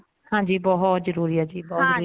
ਹਾਂਜੀ ਬਹੁਤ ਜਰੂਰੀ ਏ ਜੀ ਬਹੁਤ ਜਰੂਰੀ ਏ